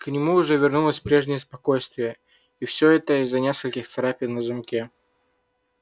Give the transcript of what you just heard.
к нему уже вернулось прежнее спокойствие и все это из-за нескольких царапин на замке